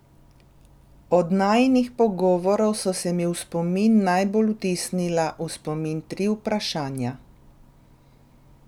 Od najinih pogovorov so se mi v spomin najbolj vtisnila v spomin tri vprašanja.